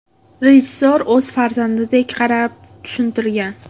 Rejissor o‘z farzandidek qarab, tushuntirgan.